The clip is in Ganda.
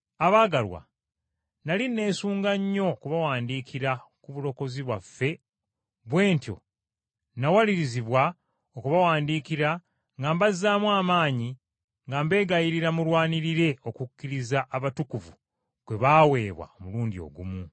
Abaagalwa, nnali neesunga nnyo okubawandiikira ku bulokozi bwaffe bwe ntyo nawalirizibwa okubawandiikira nga mbazzaamu amaanyi nga mbegayirira mulwanirire okukkiriza abatukuvu kwe baaweebwa omulundi ogumu.